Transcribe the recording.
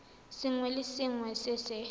sengwe le sengwe se se